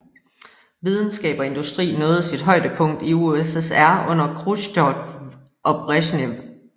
Videnskab og industri nåede sit højdepunkt i USSR under Khrusjtjov og Bresjnev